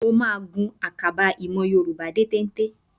Mo máa gun àkàbà ìmọ̀ Yorùbá dé téńté